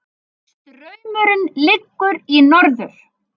Straumurinn liggur í norður